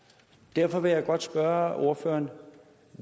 derfor vil jeg godt spørge ordføreren